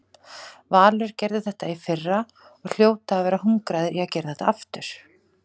Valur gerði þetta í fyrra og hljóta að vera hungraðir í að gera þetta aftur.